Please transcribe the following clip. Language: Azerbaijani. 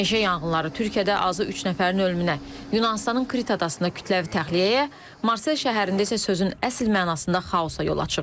Meşə yanğınları Türkiyədə azı üç nəfərin ölümünə, Yunanıstanın Krit adasında kütləvi təxliyəyə, Marsel şəhərində isə sözün əsl mənasında xaosa yol açıb.